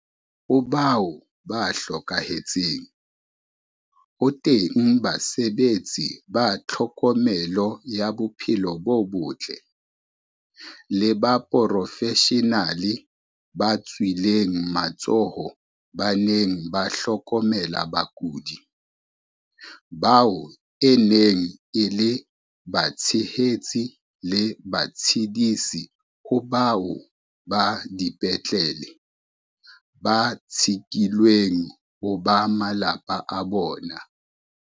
Ho bao ba hlokahetseng, ho teng basebetsi ba tlhokomelo ya bophelo bo botle, le baporofeshenale ba tswileng matsoho ba neng ba hlokomela bakudi, bao e neng e le batshehetsi le batshedisi ho bao ba dipetlele ba tshekilweng ho ba malapa a bona.